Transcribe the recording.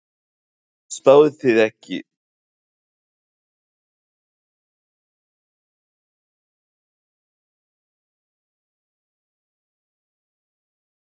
Spáðuð þið ekki okkur titlinum í fyrra? segir Ásgerður Stefanía Baldursdóttir, fyrirliði Stjörnunnar.